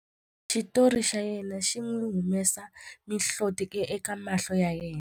Xitori xa yena xi n'wi humesa mihloti eka mahlo ya yena.